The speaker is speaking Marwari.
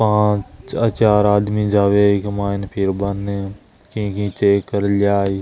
पांच चार आदमी जावे इक मायने फिरबा ने की की चेक कर लाय।